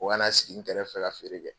O kana sigi n kɛrɛfɛ ka feere kɛ